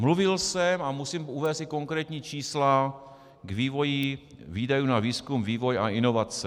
Mluvil jsem a musím uvést i konkrétní čísla k vývoji výdajů na výzkum, vývoj a inovace.